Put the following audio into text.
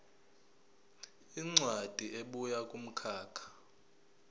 incwadi ebuya kumkhakha